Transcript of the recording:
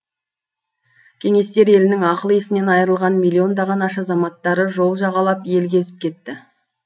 кеңестер елінің ақыл есінен айырылған миллиондаған аш азаматтары жол жағалап ел кезіп кетті